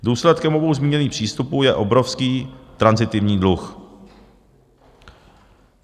Důsledkem obou zmíněných přístupů je obrovský tranzitivní dluh.